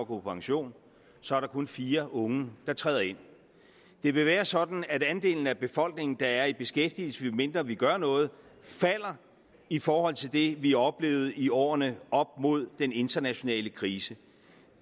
på pension så er der kun fire unge der træder ind det vil være sådan at andelen af befolkningen der er i beskæftigelse medmindre vi gør noget falder i forhold til det vi oplevede i årene op mod den internationale krise